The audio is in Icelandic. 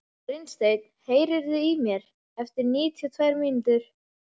Brynsteinn, heyrðu í mér eftir níutíu og tvær mínútur.